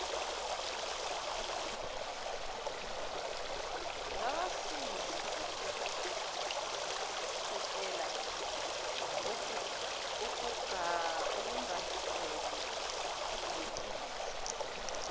ngabasizi bokusekela okungajwayelekile